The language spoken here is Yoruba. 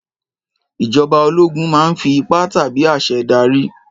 Ìjọba ológun máa ń fi ipá tàbí àṣẹ darí.